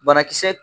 Banakisɛ